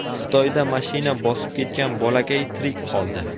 Xitoyda mashina bosib ketgan bolakay tirik qoldi .